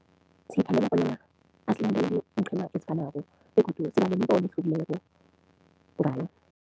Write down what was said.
Bonyana asilandele iinqhema ezifanako begodu siba nemibono ehlukileko ngayo.